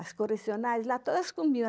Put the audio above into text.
As colecionárias lá, todas comiam.